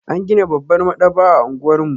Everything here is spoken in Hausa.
An gina babbar maɗaba'a a unguwar mu.